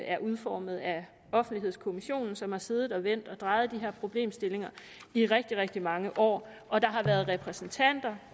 er udformet af offentlighedskommissionen som har siddet og vendt og drejet de her problemstillinger i rigtig rigtig mange år og der har været repræsentanter